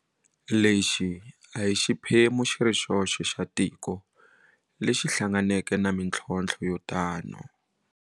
Lexi a hi xiphemu xi ri xoxe xa tiko lexi hlanganeke na mitlhontlho yo tano.